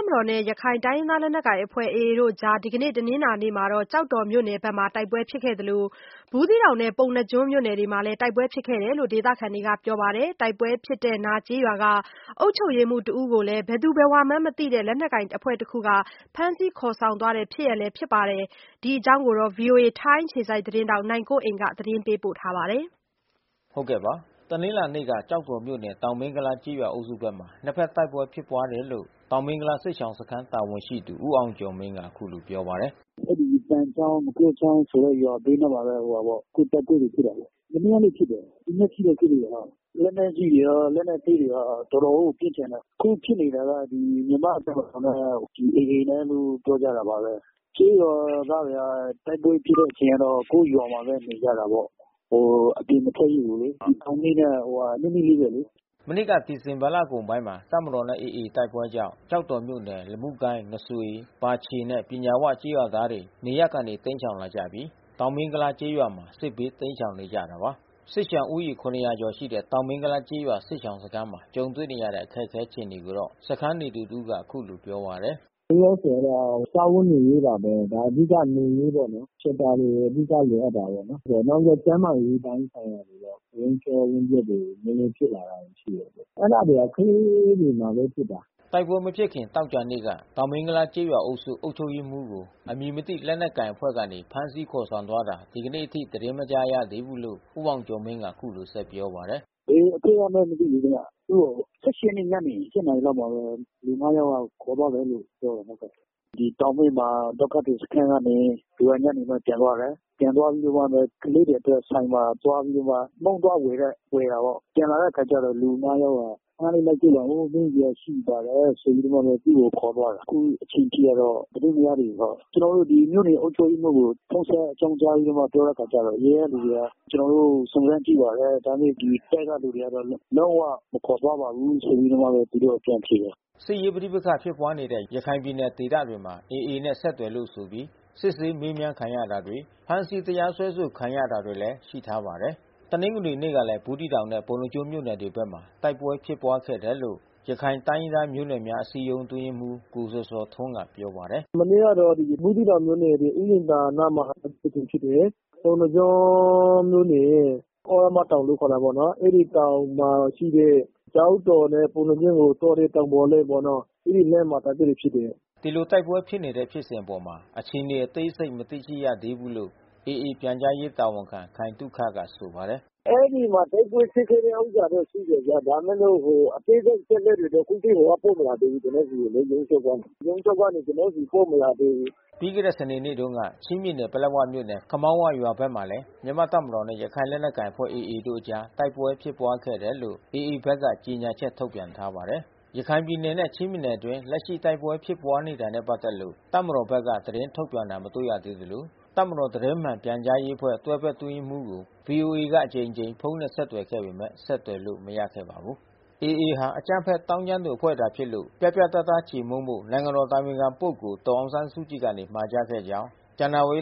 ပ်မတော်နဲ့ ရခိုင်လူမျိုးစုလက်နက်ကိုင်အဖွဲ့ AA တို့အကြား ဒီကနေ့ တနင်္လာနေ့ ကျောက်တောမြို့နယ်ဘက်မှာ တိုက်ပွဲ ဖြစ်နေသလို ဘူးသီးတောင်နဲ့ ပုဏ္ဏားကျွန်းမြို့နယ်တွေဘက်မှာလည်း တိုက်ပွဲဖြစ်ခဲ့တယ်လို့ ဒေသခံတွေကပြောပါတယ်။ တိုက်ပွဲ ဖြစ်တဲ့နားကျေးရွာက အုပ်ချုပ်ရေးမှူးတဦးကို ဘယ်သူဘယ်ဝါမှန်းမသိတဲ့ လက်နက်ကိုင်အဖွဲ့တခုက ဖမ်းဆီးခေါ်ဆောင်သွားတဲ့ ဖြစ်ရပ်လည်း ဖြစ်ထားပါတယ်။ ဒီအကြောင်း ဗွီအိုအေ ထိုင်းအခြေစိုက်သတင်းထောက် နိုင်ကွန်းအိန်က သတင်းပေးပို့ထားပါတယ်။ တနင်္လာနေ့မနက်က ကျောက်တော်မြို့နယ် တောင်မင်းကုလားကျေးရွာအုပ်စုဘက်မှာ နှစ်ဖက်တိုက်ပွဲဖြစ်ပွါးတယ် လို့ တောင်မင်းကုလားစစ်ရှောင်စခမ်းတာဝန်ရှိသူ ဦးအောင်ကျော်မင်းကအခုလိုပြောပါတယ်။ “အဲဒီသန်ချောင်း ငှက်ပျောချောင်းဆိုတဲ့ရွာဘေးနားမှာဘဲပေါ့။ အခုတိုက်ပွဲတွေဖြစ်တာပေါ့။ မနေ့ကလဲဖြစ်တယ်။ ဒီမ နက်အထိဖြစ်နေတယ်။ လက်နက်ကြီးတွေရော လက်နက်သေးတွေရော တော်တော်ကိုပစ်ကြတယ်။ အခုဖြစ်နေတာ ကမြန်မာ့တပ်မတော်နဲ့AAကလို့ပြောကြတာပါဘဲ။ ကျေးရွာသားတွေက တိုက်ပွဲဖြစ်တဲ့အချိန်ကတော့ ကိုယ့်ရွာမှာဘဲ နေကြတာပေါ့။ အပြင်မထွက်ရဲဘူးလေ။ ဒီတောင်မင်းနဲ့နီးနီးလေးဘဲလေ။” မနှစ်ကဒီဇင်ဘာလကုန်ပိုင်းမှာတပ်မတော်နဲ့AAတို့တိုက်ပွဲကြောင့် ကျောက်တော်မြို့နယ် လမုကိုင်း၊ ငါးစွေ၊ ပါချေနဲ့ ပညာဝကျေးရွာသားတွေနေရပ်ကနေတိမ်းရှောင်လာကြပြီး တောင်မင်းကုလားကျေးရွာမှာ စစ်ဘေး တိမ်းရှောင်နေကြတာပါ။ စစ်ရှောင်ဦးရေ ကျော်ရှိတဲ့တောင်မင်းကုလားကျေးရွာစစ်ရှောင်စခမ်းမှာ ကြုံတွေ့နေရတဲ့ အခက်ခဲအခြေအနေ ကိုတော့ စခမ်းနေသူတဦးက အခုလိုပြောပါတယ်။ “လောလောဆယ်တော့စားဝတ်နေရေးပါဘဲ။ အဓိကနေရေးပေါ့နော်။ shelter တွေကိုအဓိကလိုအပ်တာပေါ့နော်။ နောက်ပြီးတော့ကျန်းမာရေးပိုင်းဆိုင်ရာ ဝမ်းလျှောဝမ်းပျက်ဖြစ်တာနဲနဲလေးဖြစ်လာတယ်လေ။ အဲတာ တွေကတော့ကလေးတွေမှာဘဲဖြစ်တာ။” တိုက်ပွဲမဖြစ်ခင်သောကြာနေ့က တောင်မင်းကုလားကျေးရွာအုပ်စု အုပ်ချုပ်ရေးမှူးကို အမည်မသိလက်နက်ကိုင် အဖွဲ့ကနေဖမ်းဆီးခေါ်ဆောင်သွားတာ ဒီကနေ့အထိသတင်းမကြားရသေးဘူးလို့ ဦးအောင်ကျော်မင်းက အခုလို ဆက်ပြောပါတယ်။ “ဘယ်အဖွဲ့ကလဲမသိဘူး။ ရက်နေ့ညနေပိုင်းက လူ ယောက်လောက် ခေါ်သွားတယ်လို့ပြောတယ်။ ဒီတောင် မင်းဒုက္ခသည်စခမ်းကနေ သူညနေဘက်ပြန်သွားတယ်။ ပြန်သွားပြီးမှဘဲ ကလေးတွေအတွက် ဆိုင်မှာ သွားပြီးတော့မှ မုန့်သွားဝယ်တဲ့အချိန်မှာပေါ့။ ပြန်လာတဲ့အချိန်မှာကြတော့လူ ယောက်က ခနလေးလိုက်ခဲ့ပါဦး မေးစရာရှိပါတယ် ဆိုပြီးမှဘဲသူ့ကိုခေါ်သွားတယ်။ အခုအချိန်ထိတော့ သတင်းမရသေးဘူးပေါ့။ ကျွန်တော်တို့ဒီမြို့နယ်အုပ်ချုပ်ရေးမှူး ကို ဖုန်းဆက်အကြောင်းကြားပြီးတော့မှ ပြောတဲ့အခါကျတော့ ရုံးကလူတွေက ကျွန်တော်တို့စုံစမ်းကြည့်ပါတယ်။ ဒါပေမဲ့ ဒီတပ်ကလူတွေကတော့ လုံးဝမခေါ်သွားပါဘူးဆိုပြီးတော့မှ သူတို့ကပြန်ဖြေတယ်။” စစ်ရေးပဋိပက္ခဖြစ်ပွါးနေတဲ့ရခိုင်ပြည်နယ်ဒေသတွေမှာAAနဲ့ဆက်သွယ်လို့ဆိုပြီးစစ်ဆေးမေးမြန်းခံရတာ၊ ဖမ်းဆီးတ ရား စွဲဆိုခံရတာတွေလည်း ရှိထားပါတယ်။ တနင်္ဂနွေနေ့ကလည်း ဘူးသီးတောင်နဲ့ ပုဏ္ဏားကျွန်းမြို့နယ်တွေဘက်မှာ တိုက်ပွဲဖြစ်ပွါးခဲ့တယ်လို့ ရခိုင်တိုင်း ရင်းသားမျိုးနွယ်များအစည်းအရုံးအတွင်းရေးမှူး ကိုဇော်ဇော်ထွန်းကပြောပါတယ်။ “မနေ့ကတော့ ဘူးသီးတောင်မြို့နယ် ဥယာဉ်သာရွာအနားမှာ တိုက်ပွဲတကြိမ်ဖြစ်တယ်။ ပုဏ္ဏားကျွန်း မြို့နယ် သြရမတောင်လို့ခေါ်တာပေါ့နော်။ အဲဒီတောင်မှာရှိတဲ့ ကျောက်တော်နဲ့ ပုဏ္ဏားကျွန်းကိုသွားတဲ့တောင်ပေါ်လမ်း ပေါ့နော်။ အဲဒီလမ်းမှာတိုက်ပွဲတွေဖြစ်တယ်။” ဒီလိုတိုက်ပွဲဖြစ်နေတဲ့ဖြစ်စဉ်အပေါ် အခြေအနေအသေးစိပ်မသိရသေးဘူးလို့ AA ပြန်ကြားရေးတာဝန်ခံခိုင်သုခ ကဆိုပါတယ်။ “အဲဒီမှာတိုက်ပွဲဖြစ်ခဲ့တဲ့ဥစ္စာတော့သိတယ်ဗျ။ ဒါပေမဲ့လို့အသေးစိပ်အချက်အလက်တွေတော့ ရုံးချုပ်ကနေကျွန်တော် ဆီ ပို့မလာသေးဘူး။” ပြီးခဲ့တဲ့စနေနေ့တုန်းကချင်းပြည်နယ်ပလက်ဝမြို့နယ်ခမောင်းဝရွာဘက်မှာလဲ မြန်မာ့တပ်မတော်နဲ့ရခိုင်လက်နက် ကိုင်အဖွဲ့AAတို့အကြားတိုက်ပွဲဖြစ်ပွါးခဲ့တယ်လို့ AAဘက်က ကြေညာချက်ထုတ်ပြန်ထားပါတယ်။ ရခိုင်ပြည်နယ်နဲ့ချင်းပြည်နယ်အတွင်း အခုလက်ရှိ တိုက်ပွဲဖြစ်တာတွေနဲ့ပက်သတ်လို့ တပ်မတော်ဘက်က သတင်းထုတ်ပြန် တာမတွေ့ရသေးသလို တပ်မတော် သတင်းမှန်ပြန်ကြားရေးအဖွဲ့ တွဲဘက် အတွင်းရေးမှူးကို ဗွီအိုအေက အကြိမ်ကြိမ် ဖုန်းနဲ့ဆက်သွယ်ပေမဲ့ ဆက်သွယ်လို့မရခဲ့ပါဘူး။ AA ဟာ အကြမ်းဖက်သောင်းကျန်းသူအဖွဲ့သာ ဖြစ်လို့ ပြတ်ပြတ်သားသားချေမှုန်းဖို့ နိုင်ငံတော်အတိုင်ပင်ခံပုဂ္ဂိုလ် ဒေါ်အောင်ဆန်းစုကြည်က မှာကြားခဲ့ကြောင်း ဇန္နာဝါရီ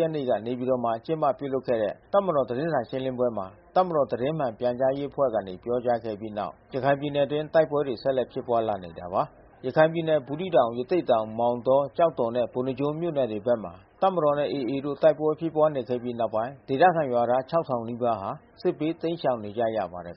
ရက်နေ့ နေပြည်တော်မှာ ကျင်းပပြုလုပ်တဲ့ တပ်မတော် သတင်းစာရှင်းလင်းပွဲမှာ တပ်မတော်သတင်းမှန်ပြန်ကြားရေးအဖွဲ့ကနေ ပြောကြားခဲ့ပြီးတဲ့နောက် ရခိုင်ပြည်နယ်အတွင်းတိုက်ပွဲတွေဆက်လက်ဖြစ်ပွါးလာတာပါ။ ရခိုင်ပြည်နယ်ဘူးသီးတောင် ရသေ့တောင် မောင်တော ကျောက်တော်နဲ့ ပုဏ္ဏားကျွန်း မြို့နယ်မှာ တပ်မတော်နဲ့ AAတို့ တိုက်ပွဲဖြစ်ပွါးနေခဲ့ပြီးနောက်ပိုင်းဒေသခံရွာသား နီးပါးဟာ စစ်ဘေးတိမ်းရှောင်နေကြရပါတယ်